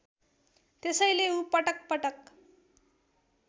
त्यसैले ऊ पटकपटक